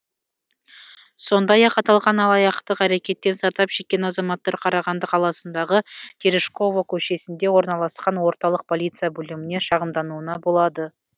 сондай ақ аталған алаяқтық әрекеттен зардап шеккен азаматтар қарағанды қаласындағы терешкова көшесінде орналасқан орталық полиция бөліміне шағымдануына болады